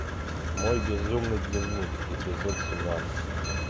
мой безумный дневник эпизод семнадцать